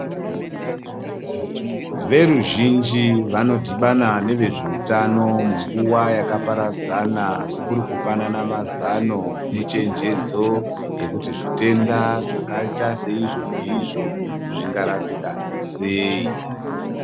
Veruzhinji vanodhibana nevezveutano munguva yakaparadzana, kurikupanana mazano echenjedzo yekuti zvitenda zvakaita seizvo, neizvo zvingarapika sei.